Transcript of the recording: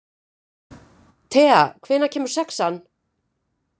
Thea, hvenær kemur sexan?